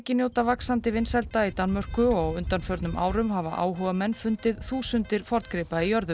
njóta vaxandi vinsælda í Danmörku og á undanförnum árum hafa áhugamenn fundið þúsundir forngripa í jörðu